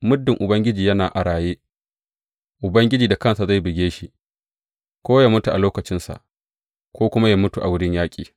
Muddin Ubangiji yana a raye, Ubangiji da kansa zai buge shi, ko yă mutu a lokacinsa, ko kuma yă mutu a wurin yaƙi.